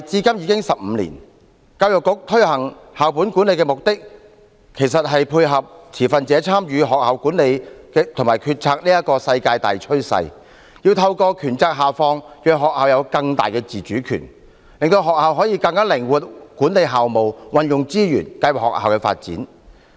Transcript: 教育局推行校本管理的目的，其實是配合持份者參與學校管理和決策的世界大趨勢，要透過權責下放，讓學校有更大的自主權，令學校可以更靈活地管理校務、運用資源和計劃學校的發展。